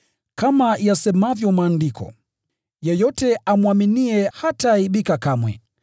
Kama yasemavyo Maandiko, “Yeyote amwaminiye hataaibika kamwe.”